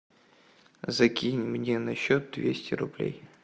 закинь мне на счет двести рублей